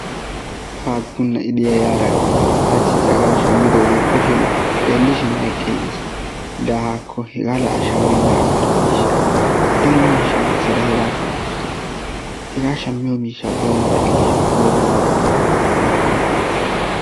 Haakku na'ee de'iyaara haachchi caaqqaa shammidoogee xeelliishin kushshiyaan meqqiigiis. La haakko hegaa la a shaammenaan agarkeeshsha. Daro miishshaa keessada hegaa shaamasutenee. Hegaa shaammiyoo miishshan bawu markkeeshsha. poori ga haakko palay!